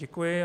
Děkuji.